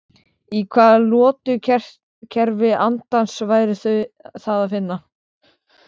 Í hvaða lotukerfi andans væri það að finna?